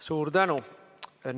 Suur tänu!